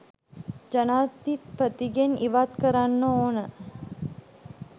ජනාධිපතිගෙන් ඉවත් කරන්න ඕන